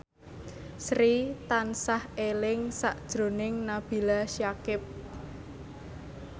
Sri tansah eling sakjroning Nabila Syakieb